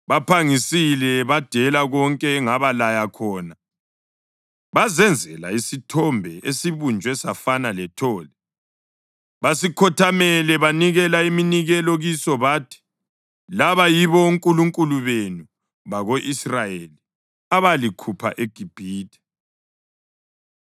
Baphangisile badela konke engabalaya khona bazenzela isithombe esibunjwe safana lethole. Basikhothamele banikela iminikelo kiso bathi, ‘Laba yibo onkulunkulu benu, bako-Israyeli, abalikhupha eGibhithe.’ ”